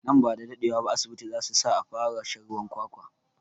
Nan bada daɗe wa ba asibiti zasu sa a fara shan ruwan kwakwa